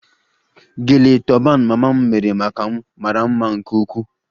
Gele toban mama m mere maka m mara mma nke ukwuu